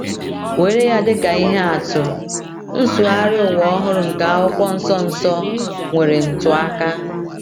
Were ya dịka ihe atụ, Nsụgharị Ụwa Ọhụrụ nke Akwụkwọ Nsọ Nsọ — nwere ntụaka.